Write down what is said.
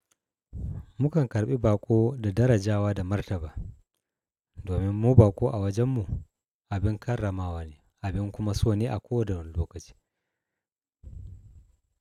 Mukan karɓi baƙo da darajawa da martaba, domin mu baƙo a wajen mu abin karramawa ne abin kuma so ne a kowane lokaci.